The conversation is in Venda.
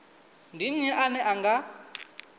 ndi nnyi ane a nga